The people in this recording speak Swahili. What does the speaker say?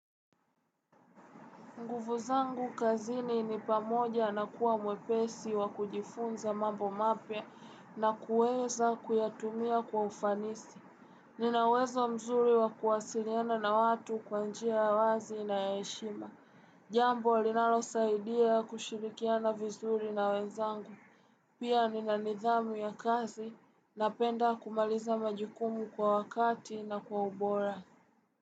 Nguvu zangu kazini ni pamoja na kuwa mwepesi wa kujifunza mambo mapya na kueza kuyatumia kwa ufanisi. Ninawezo mzuri wa kuwasiliana na watu kwanjia alazi na eshima. Jambo linalo saidia kushirikiana vizuri na wenzangu. Pia nina nidhamu ya kazi na penda kumaliza majikumu kwa wakati na kwa ubora.